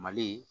Mali